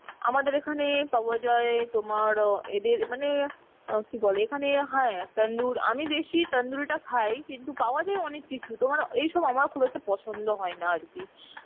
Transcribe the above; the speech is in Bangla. আমাদের এখানে পাওয়া যায় তোমার আ এদের অ্যাঁ কি বলে এখানে হ্যাঁ tandoor আমি বেশি tandoori টা খাই কিন্তু পাওয়া যায় অনেক কিছুই তোমার এইসব আমার খুব একটা পছন্দ হয় না আর কি